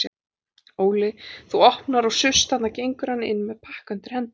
Óli þú opnar og suss þarna gengur hann inn með pakka undir hendinni.